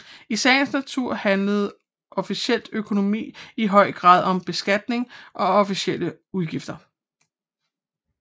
I sagens natur handler offentlig økonomi i høj grad om beskatning og offentlige udgifter